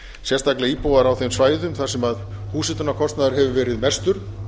sérstaklega íbúar á þeim svæðum þar sem húshitunarkostnaður hefur verið mestur